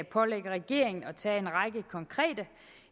pålægge regeringen at tage en række konkrete